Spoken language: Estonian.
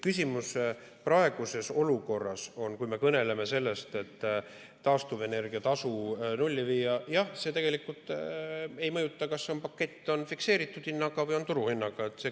Küsimus praeguses olukorras, kui me kõneleme sellest, et taastuvenergia tasu nulli viia, on, et jah, tegelikult ei mõjuta see, kas pakett on fikseeritud hinnaga või turuhinnaga.